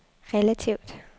relativt